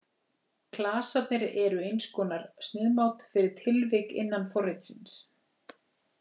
Klasarnir eru eins konar sniðmát fyrir tilvik innan forritsins.